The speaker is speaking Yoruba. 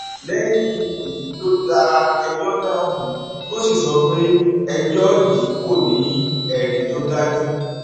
lẹyìn èyí ló da ẹjọ náà nù tó sì sọ pé ẹjọ yìí kò ní ẹrí tó dájú